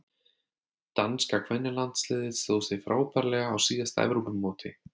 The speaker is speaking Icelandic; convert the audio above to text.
Danska kvennalandsliðið stóð sig frábærlega á síðasta Evrópumóti.